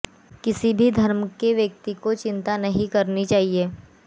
किसी भी धर्म के व्यक्ति को चिंता नहीं करनी चाहिए